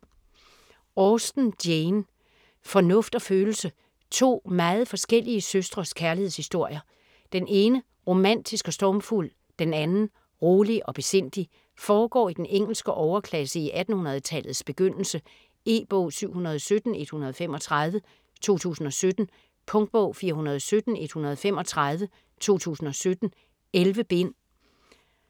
Austen, Jane: Fornuft og følelse To meget forskellige søstres kærlighedshistorier. Den ene romantisk og stormfuld, den anden rolig og besindig. Foregår i den engelske overklasse i 1800-tallets begyndelse. E-bog 717135 2017. Punktbog 417135 2017. 11 bind.